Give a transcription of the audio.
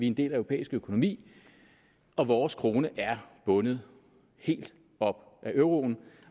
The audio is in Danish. en del af europæisk økonomi og vores krone er bundet helt op på euroen